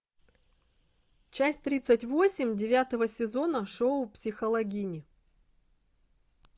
часть тридцать восемь девятого сезона шоу психологини